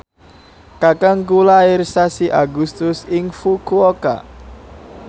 kakangku lair sasi Agustus ing Fukuoka